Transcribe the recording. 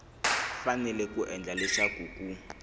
fanele ku endla leswaku ku